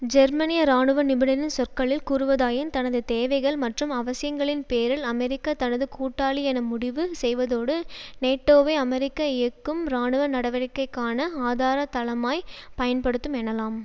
ஜெர்மனிய இராணுவ நிபுணரின் சொற்களில் கூறுவதாயின் தனது தேவைகள் மற்றும் அவசியங்களின் பேரில் அமெரிக்கா தனது கூட்டாளி என முடிவு செய்வதோடு நேட்டோவை அமெரிக்க இயக்கும் இராணுவ நடவடிக்கைகட்கான ஆதார தளமாய் பயன்படுத்தும் எனலாம்